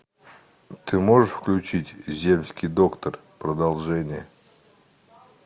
ты можешь включить земский доктор продолжение